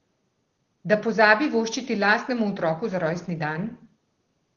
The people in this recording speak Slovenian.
Da pozabi voščiti lastnemu otroku za rojstni dan?